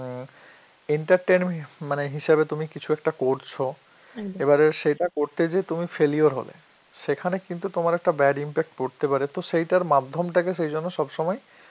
entertainm~ মানে হিসাবে তুমি কিছু একটা করছো, এবারে এটা করতে যে তুমি failure হলে সেখানে কিন্তু তোমার একটা bad impact পড়তে পারে, তো সেইটা মাধ্যম তাকে সেই জন্য সব সময়